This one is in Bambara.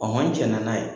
n jɛna n'a ye